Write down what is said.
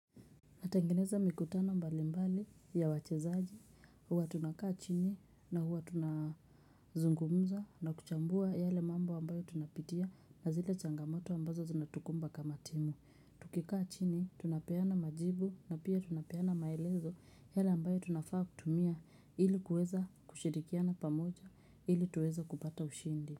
Natangeneza mikutano mbali mbali ya wachezaji, huwa tunakaa chini na huwa tunazungumza na kuchambua yale mambo ambayo tunapitia na zile changamoto ambazo zinatukumba kama timu. Tukikaa chini, tunapeana majibu na pia tunapeana maelezo yale ambayo tunafaa kutumia ili kueza kushirikiana pamoja ili tuweze kupata ushindi.